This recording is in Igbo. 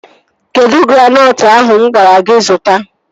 Kedụ granọtụ ahụ mụ gwara gị zụta?